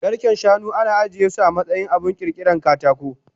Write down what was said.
Garken shanu ana ajiyesu amatsayin abun kirkiran katako